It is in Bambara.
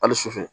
Hali sufɛ